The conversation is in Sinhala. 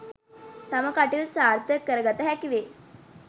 තම කටයුතු සාර්ථක කර ගත හැකි වේ